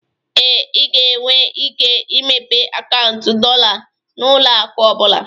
Ee, ị ga-enwe ike imepe akaụntụ dollar na ụlọ akụ ọ bụla